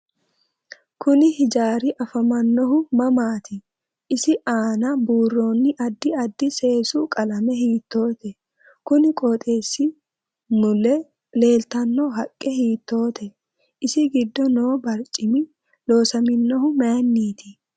Kuni hijaari afamannohu mamaati isi aana buurooni addi addi seesu qalame hiitoote kuni qooxeesi mule leeltanno haqqe hiitoote isi giddo noo barcimi loosaminohu mayiiniiti